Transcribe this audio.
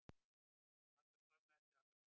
Var það skömmu eftir aldamót.